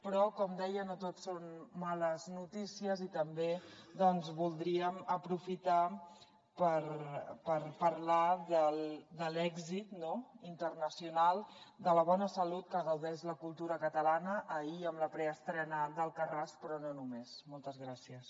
però com deia no tot són males notícies i també voldríem aprofitar per parlar de l’èxit internacional de la bona salut de què gaudeix la cultura catalana ahir amb la preestrena d’moltes gràcies